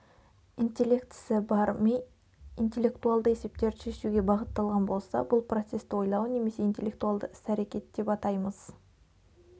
интеллектісі бар ми интеллектуалды есептерді шешуге бағытталған болса бұл процесті ойлау немесе интеллектуалды іс-әрекет деп атаймыз